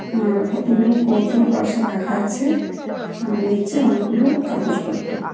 আর কতগুলো কৌটো পাশে রাখা আছে আর নীচে অনেকগুলো কাগজপত্র।